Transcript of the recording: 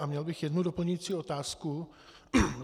A měl bych jednu doplňující otázku.